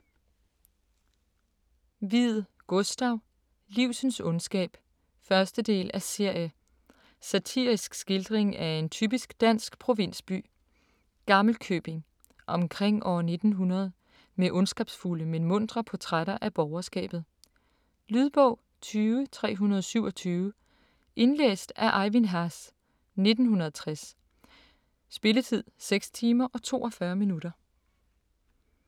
Wied, Gustav: Livsens ondskab 1. del af serie. Satirisk skildring af en typisk dansk provinsby, Gammelkøbing, omkring år 1900 med ondskabsfulde, men muntre portrætter af borgerskabet. Lydbog 20327 Indlæst af Ejvind Haas, 1960. Spilletid: 6 timer, 42 minutter.